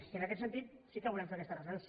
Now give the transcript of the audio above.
i en aquest sentit sí que volem fer aquesta reflexió